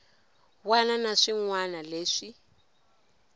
wana na swin wana leswi